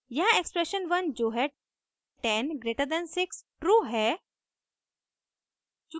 यहाँ एक्सप्रेशन 1 जो है 10 > 6 ट्रू है